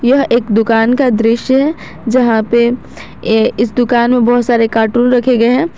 एक दुकान का दृश्य है जहां पे ये इस दुकान में बहुत सारे कार्टून रखे गए हैं।